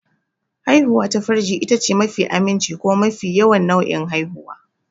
Haihuwar ta farji itace mafi aminci kuma mafi yawan nau'in haihuwa.